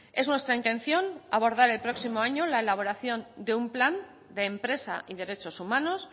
es nuestra intención abordar el próximo año la elaboración de un plan de empresa y derechos humanos